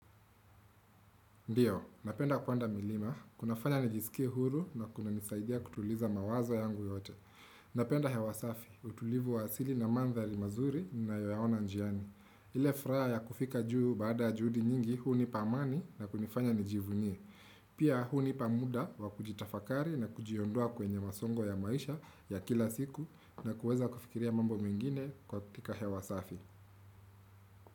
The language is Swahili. Ndiyo, napenda kwanda milima, kunafanya nijisikia huru na kuna nisaidia kutuliza mawazo yangu yote. Napenda hewa safi, utulivu wa asili na mandhali mazuri ninayoyaona njiani. Ile furaha ya kufika juu baada juhudi nyingi, huu ni pamani na kunifanya nijivunie. Pia hunipa muda wa kujitafakari na kujiondua kwenye masongo ya maisha ya kila siku na kuweza kufikiria mambo mwingine kwa kutika hewasafi.